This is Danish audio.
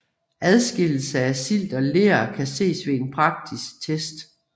Adskillelse af silt og ler kan ses ved en praktisk test